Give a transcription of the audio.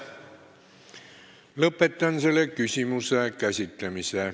Lõpetan selle küsimuse käsitlemise.